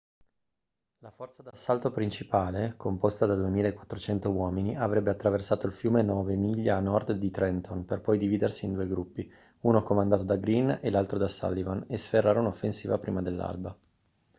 la forza d'assalto principale composta da 2.400 uomini avrebbe attraversato il fiume nove miglia a nord di trenton per poi dividersi in due gruppi uno comandato da greene e l'altro da sullivan e sferrare un'offensiva prima dell'alba